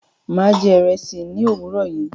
Mà á jẹ ìrẹsì ní òwúrọ̀ yìí.